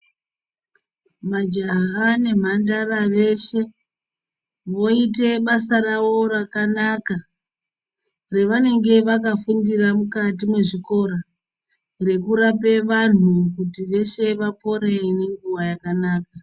Majaha nemhandara veshe voite basa rawo rakanaka revanenge vakafundira mukati mwezvikora rekurape vanhu kuti veshe vapore nenguwa yakanaka.